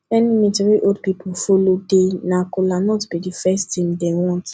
any meetin wey old old pipo follow dey na kolanut bi di first tin dem want